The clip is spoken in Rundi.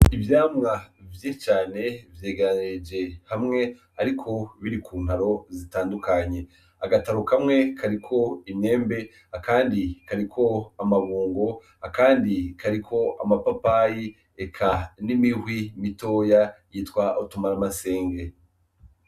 Ivyamwa vy'icane vyeganeje hamwe, ariko biri ku nkaro zitandukanye agataru kamwe kariko imyembe akandi kariko amabungo akandi kariko amapapayi eka n'imihwi mitoya yitwa otumara amasenge.